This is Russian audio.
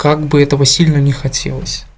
как бы этого сильно не хотелось